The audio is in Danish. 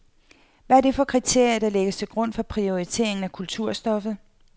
Hvad er det for kriterier, der lægges til grund for prioriteringen af kulturstoffet?